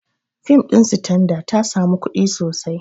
Fim ɗin Sitanada ta sami kuɗi sosai